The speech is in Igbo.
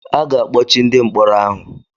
A ga-akpọchi ndị mkpọrọ ahụ